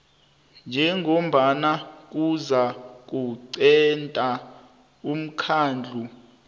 njengombana kuzakuqunta umkhandlu